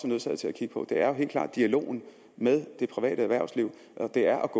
nødsaget til at kigge på er jo helt klart dialogen med det private erhvervsliv og det er